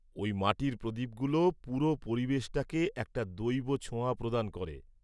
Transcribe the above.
ওই মাটির প্রদীপগুলো পুরো পরিবেশটাকে একটা দৈব ছোঁয়া প্রদান করে।